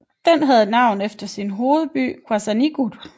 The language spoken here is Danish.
Den havde navn efter sin hovedby Qasigiannguit